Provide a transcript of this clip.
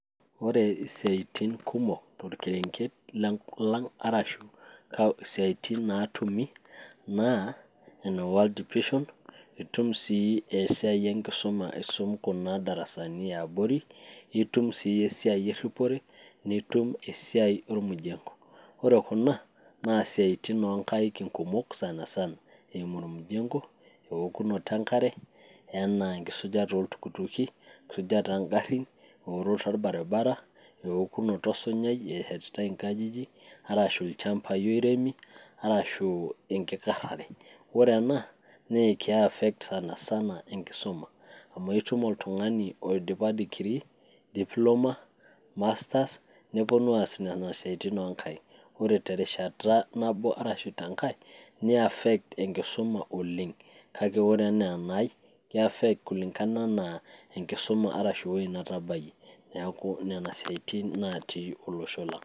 ore isiaitin kumok tolkerenget lang arashu isiaitin natumi naaene world dipishon itum sii esiai enkisuma aisum kuna darasani iabori itum sii esiai erripore nitum esiai ormujengo ore kuna naa isiaitin onkaik inkumok sanasana eimu ormujengo eokunoto enkare enaa enkisujata oltukutuki enkisujata ongarrin eworoto orbaribara ewokunoto osunyai eshetitae inkajijik arashu ilchambai oiremi arashu enkikarrare ore ena naa ke affect sanasana enkisuma amu aitum oltung'ani oidipa dikiri, diploma, masters neponu aas nena siaitin onkaik ore terishata nabo arashu tenkae nei affect enkisuma oleng kake ore enaa enai kei affect kulingana anaa enkisuma arashu ewoi natabayie neeku nena siaitin natii olosho lang.